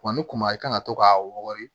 Wa ni kuma i kan ka to k'a wɔrɔni